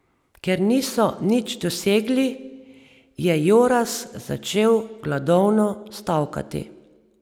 Ker niso nič dosegli, je Joras začel gladovno stavkati.